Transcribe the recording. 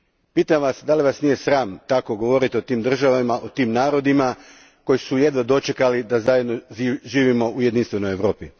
Pitam vas da li vas nije sram tako govoriti o tim državama, o tim narodima koji su jedva dočekali da zajedno živimo u jedinstvenoj Europi?